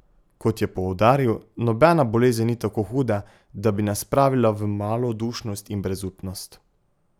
Kot je poudaril, nobena bolezen ni tako huda, da bi nas spravila v malodušnost in brezupnost.